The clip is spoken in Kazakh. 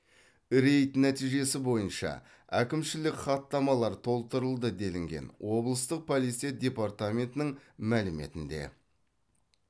рейд нәтижесі бойынша әкімшілік хаттамалар толтырылды делінген облыстық полиция департаментінің мәліметінде